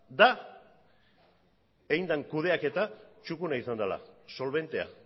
da egin den kudeaketa txukuna izan dela solbentea